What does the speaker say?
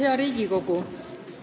Hea Riigikogu!